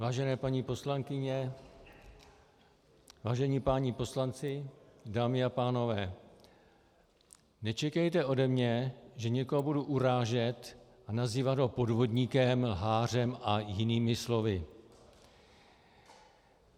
Vážené paní poslankyně, vážení páni poslanci, dámy a pánové, nečekejte ode mě, že někoho budu urážet a nazývat ho podvodníkem, lhářem a jinými slovy.